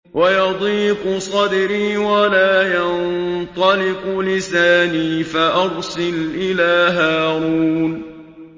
وَيَضِيقُ صَدْرِي وَلَا يَنطَلِقُ لِسَانِي فَأَرْسِلْ إِلَىٰ هَارُونَ